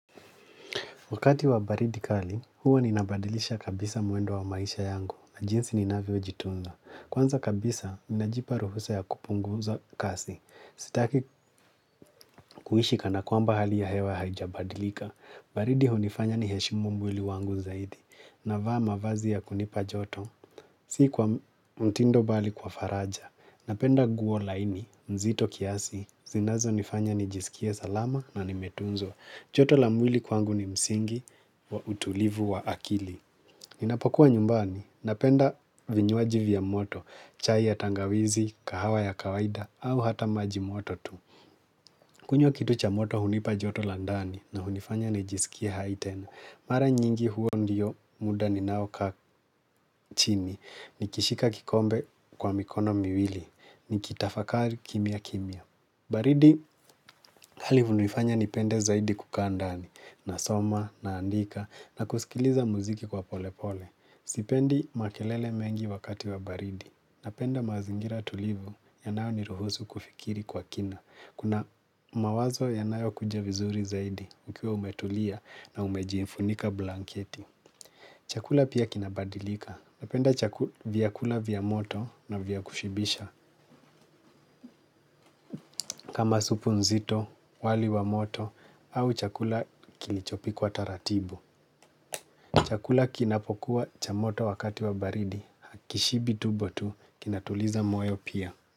Wakati wa baridi kali, huwa ninabadilisha kabisa mwendo wa maisha yangu na jinsi ni navyojitunza. Kwanza kabisa, najipa ruhusa ya kupunguza kasi. Sitaki kuishi kana kwamba hali ya hewa haijabadilika. Baridi hunifanya niheshimu mwili wangu zaidi. Navaa mavazi ya kunipa joto. Si kwa mtindo bali kwa faraja. Napenda nguo laini, nzito kiasi. Zinazonifanya nijisikie salama na nimetunzwa. Joto la mwili kwangu ni msingi wa utulivu wa akili. Ninapokuwa nyumbani, napenda vinywaji vya moto, chai ya tangawizi, kahawa ya kawaida, au hata maji moto tu. Kunywa kitu cha moto hunipa joto la ndani na hunifanya nijisikie hai tena. Mara nyingi huo ndio muda ninao kaa chini, nikishika kikombe kwa mikono miwili, nikitafakari kimya kimya. Baridi hali hunifanya nipende zaidi kukaa ndani, nasoma, naandika, na kusikiliza muziki kwa polepole. Sipendi makelele mengi wakati wa baridi. Napenda mazingira tulivu yanayoniruhusu kufikiri kwa kina. Kuna mawazo yanayokuja vizuri zaidi ukiwa umetulia na umejiifunika blanketi. Chakula pia kinabadilika. Napenda chaku, vyakula vya moto na vya kushibisha. Kama supu nzito, wali wa moto au chakula kilichopikwa taratibu. Chakula kinapokuwa cha moto wakati wa baridi, hakishibi tubo tu kinatuliza moyo pia.